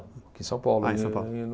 Aqui em São Paulo. Ah, em São Paulo.